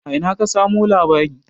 A ina ka samu labari?